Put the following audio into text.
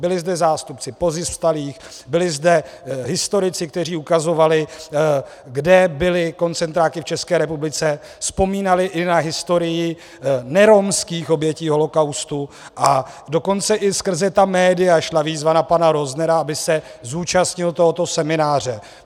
Byli zde zástupci pozůstalých, byli zde historici, kteří ukazovali, kde byly koncentráky v České republice, vzpomínali i na historii neromských obětí holokaustu, a dokonce i skrze ta média šla výzva na pana Roznera, aby se zúčastnil tohoto semináře.